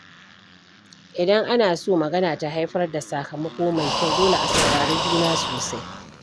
Idan ana so magana ta haifar da sakamako mai kyau, dole a saurari juna sosai.